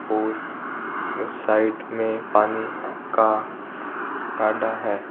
और साइड में पानी का काडा है।